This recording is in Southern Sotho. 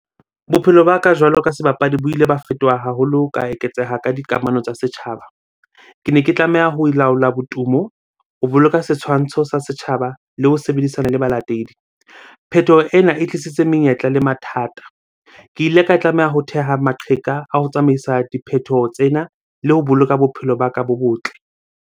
Bophelo ba ka jwalo ka sebapadi bo ile ba fetoha haholo, ka eketseha ka dikamano tsa setjhaba. Kene ke tlameha ho laola botumo, ho boloka setshwantsho sa setjhaba, le ho sebedisana le balatedi. Phethoho ena e tlisitse menyetla le mathata. Ke ile ka tlameha ho theha maqheka a ho tsamaisa diphethoho tsena le ho boloka bophelo ba ka bo botle